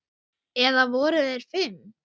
Eða voru þeir fimm?